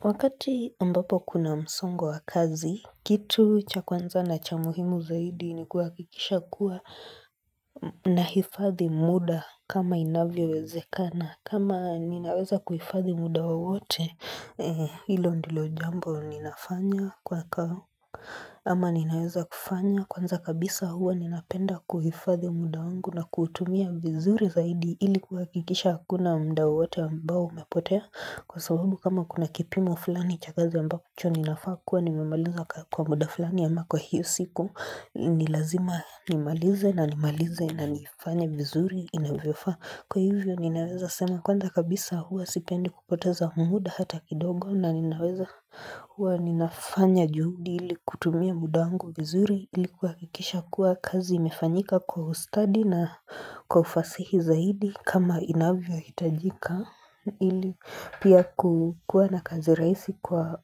Wakati ambapo kuna msongo wa kazi, kitu cha kwanza na cha muhimu zaidi ni kuhakikisha kuwa nahifadhi muda kama inavyowezekana. Kama ninaweza kuhifadhi muda wowote hilo ndilo jambo ninafanya kwa Ama ninaweza kufanya kwanza kabisa huwa ninapenda kuhifadhi muda wangu na kuutumia vizuri zaidi ili kuhakikisha hakuna muda wowote ambao umepotea Kwa sababu kama kuna kipimo fulani cha kazi ambacho ninafaa kuwa nimemaliza kwa muda fulani ama kwa hiyo siku ni lazima nimalize na nimalize na nifanye vizuri inavyofaa Kwa hivyo ninaweza sema kwanza kabisa huwa sipendi kupoteza muda hata kidogo na ninaweza huwa ninafanya juhudi ili kutumia muda wangu vizuri ili kuhakikisha kuwa kazi imefanyika kwa ustadi na kwa ufasihi zaidi kama inavyohiyajika ili pia kukuwa na kazi rahisi kwa